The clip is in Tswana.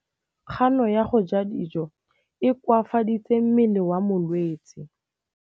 Kganô ya go ja dijo e koafaditse mmele wa molwetse.